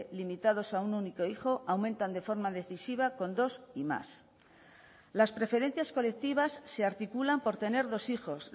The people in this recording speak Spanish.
limitados a un único hijo aumentan de forma decisiva con dos y más las preferencias colectivas se articulan por tener dos hijos